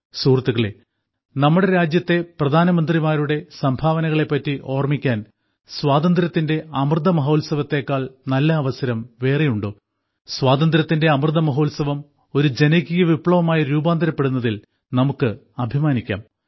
സുഹൃത്തുക്കളേ നമ്മുടെ രാജ്യത്തിന്റെ പ്രധാനമന്ത്രിമാരുടെ സംഭാവനകളെപ്പറ്റി ഓർമ്മിക്കാൻ സ്വാതന്ത്ര്യത്തിന്റെ അമൃതമഹോത്സവത്തേക്കാൾ നല്ല അവസരം വേറെയുണ്ടോ സ്വാതന്ത്ര്യത്തിന്റെ അമൃതമഹോത്സവം ഒരു ജനകീയ വിപ്ലവമായി രൂപാന്തരപ്പെടുന്നതിൽ നമുക്ക് അഭിമാനിക്കാം